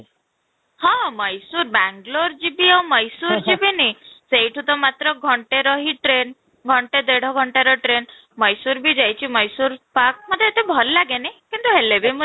ହଁ, ମୟସରେ ବାଙ୍ଗାଲୁର ଯିବି ଆଉ ମୟସରେ ଯିବିନି ସେଇଠୁ ତ ମାତ୍ର ଘଣ୍ଟେ ରହି train, ଘଣ୍ଟେ ଦେଢ଼ ଘଣ୍ଟାର train ମୟସରେ ବି ଯାଇଛି ମୟସରେ park ମୋତେ ଏତେ ଭଲ ଲାଗେନି କିନ୍ତୁ ହେଲେ ବି ମୁଁ